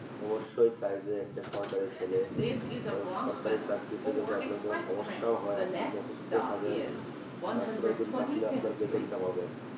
অবশ্যই চায় যে একটা সরকারি ছেলে কারণ সরকারি চাকরিতে যদি আপনার কোনো সমস্যাও হয় আপনি যদি অসুস্থ থাকেন তারপরেও কিন্তু আপনি আপনার বেতনটা পাবেন